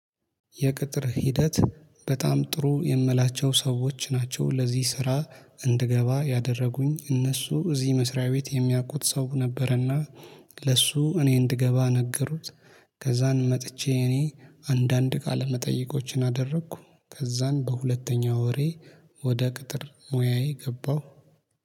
የቅጥር ሂደት በጣም ጥሩ የምላቸው ሰዎች ናቸው ለዚህ ስራ እንድገባ ያደረጉኝ እነሱ እዚህ መስሪያ ቤት የሚያውቁት ሰው ነበረና ለሱ እኔ እንድገባ ነገሩት። ከዛን መጥቼ እኔ አንዳንድ ቃለመጠይቆችን አደረኩ ከዛን በሁለተኛ ወሬ ወደ ቅጥር ሙያዬ ገባሁ